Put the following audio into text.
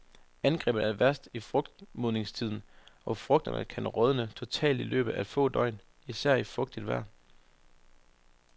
Angrebet er værst i frugtmodningstiden, og frugterne kan rådne totalt i løbet af få døgn, især i fugtigt vejr.